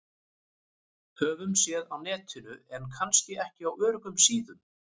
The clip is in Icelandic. Höfum séð á Netinu- en kannski ekki á öruggum síðum.